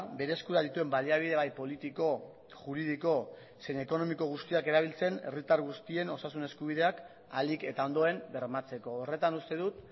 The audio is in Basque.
bere eskura dituen baliabide bai politiko juridiko zein ekonomiko guztiak erabiltzen herritar guztien osasun eskubideak ahalik eta ondoen bermatzeko horretan uste dut